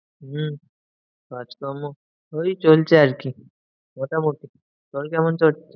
হম কাজকর্ম ওই চলছে আরকি। মোটামুটি, তোর কেমন চলছে?